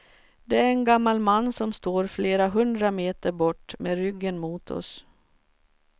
Det är en gammal man som står flera hundra meter bort med ryggen mot oss.